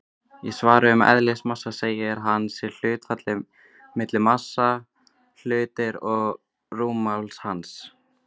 Í svari um eðlismassa segir að hann sé hlutfallið milli massa hlutarins og rúmmáls hans.